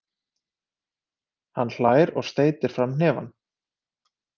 Hann hlær og steytir fram hnefann.